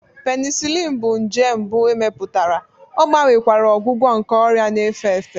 Penicillin bụ nje mbụ e mepụtara, ọ gbanwekwara ọgwụgwọ nke ọrịa na-efe efe.